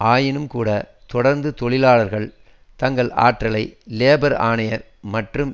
ஆயினும் கூட தொடர்ந்து தொழிலாளர்கள் தங்கள் ஆற்றலை லேபர் ஆணையர் மற்றும்